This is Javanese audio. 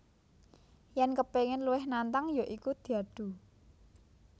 Yèn kepingin luwih nantang ya iku diadu